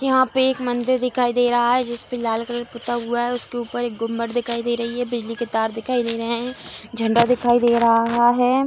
यहां पे एक मंदिर दिखाई दे रहा रहा है जिसपे लाल कलर पुता हुआ है उसके ऊपर एक गुंबद दिखाई दे रही है बिजली के तार दिखाई दे रहे है झंडा दिखाई दे रहा है।